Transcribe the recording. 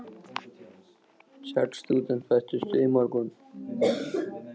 Sex stúdentar bættust við í morgun.